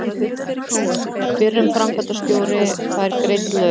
Fyrrum framkvæmdastjóri fær greidd laun